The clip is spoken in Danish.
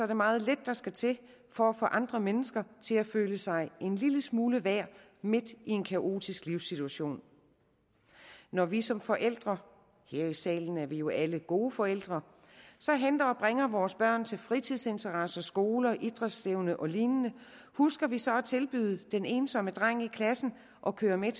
det meget lidt der skal til for at få andre mennesker til at føle sig en lille smule værd midt i en kaotisk livssituation når vi som forældre her i salen er vi jo alle gode forældre henter og bringer vores børn til fritidsinteresser skole idrætsstævne og lignende husker vi så at tilbyde den ensomme dreng i klassen at køre med